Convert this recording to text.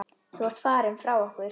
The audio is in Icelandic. Þú ert farinn frá okkur.